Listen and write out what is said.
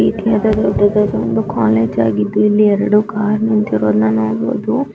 ಈ ರೀತಿಯಾದ ದೊಡ್ಡದಾದ ಒಂದು ಕಾಲೇಜ್